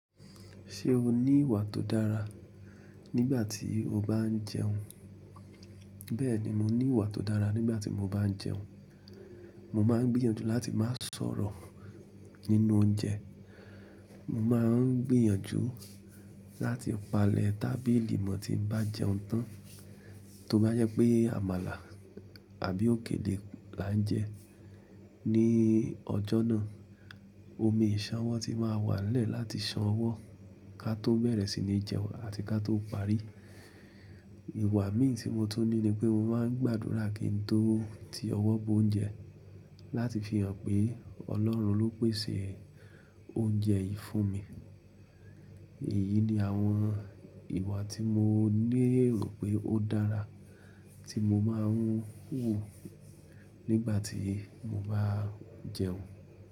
Ṣé o ní ìwà tó dára nígbà tí o bá ń jẹun? Bẹ́ẹ̀ni, mo ní ìwà tó dára nígbà tí mo bá ń jẹun. Mo máa ń gbìyànjú láti má sọ̀rọ̀ nínú oúnjẹ. Mo má a ń gbìyànjú láti palẹ̀ tábìlì mo tí n bá jẹun tán tó bá jẹ́ pé àmàlà àbí òkèlè là ń jẹ. Ní ọjọ́ náà, omi ìsánwọ́ ti máa wà n lẹ́ẹ̀ láti san owó ká tó bẹ̀rẹ̀ sí ní jẹun àti ká tó parí. Ìwà mí tí mo tún ní ni pé mo máa ń gbàdúrà kí n tó ti ọwọ́ bo oúnjẹ, láti fi hàn pé Ọlọ́run ló pèsè oúnjẹ yìí fún mi. Èyí ni àwọn ìwà tí mo ní èrò pé ó dára tí mo máa ń hù nígbà tí mo bá ń jẹun.